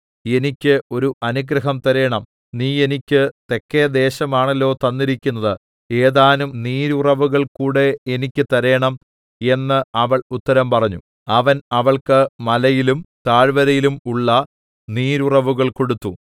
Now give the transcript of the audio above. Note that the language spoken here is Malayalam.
എനിക്ക് ഒരു അനുഗ്രഹം തരേണം നീ എനിക്ക് തെക്കെ ദേശമാണല്ലൊ തന്നിരിക്കുന്നത് ഏതാനും നീരുറവുകൾകൂടെ എനിക്ക് തരേണം എന്ന് അവൾ ഉത്തരം പറഞ്ഞു അവൻ അവൾക്ക് മലയിലും താഴ്‌വരയിലും ഉള്ള നീരുറവുകൾ കൊടുത്തു